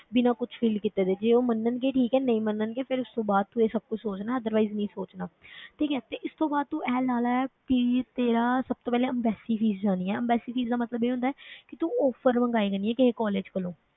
ਬਿਨਾਂ ਕੁਛ ਕੀਤੇ ਦੇ, ਜੇ ਉਹ ਮੰਨਣਗੇ ਠੀਕ ਹੈ, ਨਹੀਂ ਮੰਨਣਗੇ ਫਿਰ ਇਸ ਤੋਂ ਬਾਅਦ ਤੂੰ ਇਹ ਸਭ ਕੁਛ ਸੋਚਣਾ otherwise ਨਹੀਂ ਸੋਚਣਾ ਠੀਕ ਹੈ ਤੇ ਇਸ ਤੋਂ ਬਾਅਦ ਤੂੰ ਇਹ ਲਾ ਲੈ ਵੀ ਤੇਰਾ ਸਭ ਤੋਂ ਪਹਿਲੇ embassy fees ਜਾਣੀ ਹੈ, embassy fees ਦਾ ਮਤਲਬ ਇਹ ਹੁੰਦਾ ਹੈ ਕਿ ਤੂੰ offer ਮੰਗਵਾਇਆ ਕਰਨੀ ਹੈ ਕਿਸੇ college ਕੋਲੋਂ